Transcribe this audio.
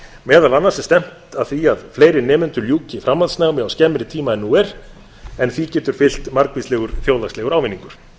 meðal annars er stefnt að því að fleiri nemendur ljúki framhaldsskólanámi á skemmri tíma en nú er en því getur fylgt margvíslegur þjóðhagslegur ávinningur